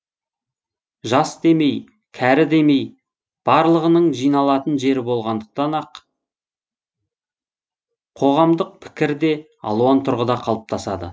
жас демей кәрі демей барлығының жиналатын жері болғандықтан ақ қоғамдық пікір де алуан тұрғыда қалыптасады